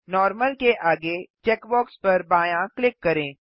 normal के आगे checkbox पर बायाँ क्लिक करें